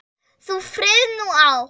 Þú frið nú átt.